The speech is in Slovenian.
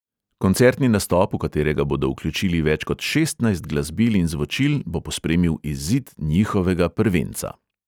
Koncertni nastop, v katerega bodo vključili več kot šestnajst glasbil in zvočil, bo pospremil izid njihovega prvenca.